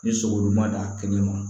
Ni sogolu ma d'a kɛnɛ ma